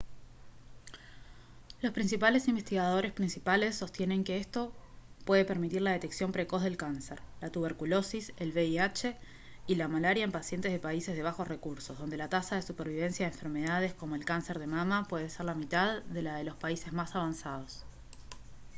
los principales investigadores principales sostienen que esto puede permitir la detección precoz del cáncer la tuberculosis el vih y la malaria en pacientes de países de bajos recursos donde la tasa de supervivencia de enfermedades como el cáncer de mama puede ser la mitad de la de los países más avanzados